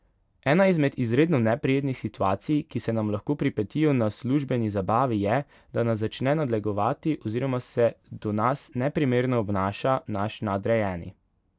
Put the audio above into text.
Ena izmed izredno neprijetnih situacij, ki se nam lahko pripetijo na službeni zabavi je, da nas začne nadlegovati oziroma se do nas neprimerno obnaša naš nadrejeni.